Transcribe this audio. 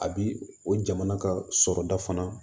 A bi o jamana ka sɔrɔda fana